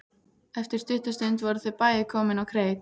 Eftir stutta stund voru þau bæði komin á kreik.